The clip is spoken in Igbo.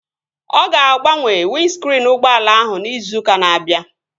Ọ ga-agbanwe windskriin ụgbọala ahụ izu ụka na-abịa